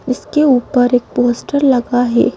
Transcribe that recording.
इसके ऊपर एक पोस्टर लगा है।